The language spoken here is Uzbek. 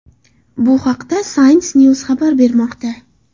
Bu haqda Science News xabar bermoqda .